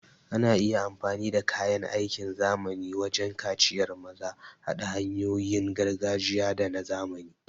Ana iya amfani da kayan aiki na zamani wajen kaciyar maza, haɗa hanyoyin gargajiya da na zamani.